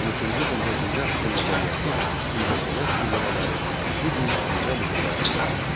13-cü, 14-cü əsrin mədəniyyəti, incəsənət nümunələri bu gün dünya muzeylərini bəzəyir.